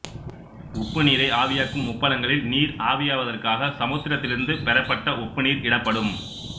உப்புநீரை ஆவியாக்கும் உப்பளங்களில் நீர் ஆவியாவதற்காக சமுத்திரத்திலிருந்து பெறப்பட்ட உப்பு நீர் இடப்படும்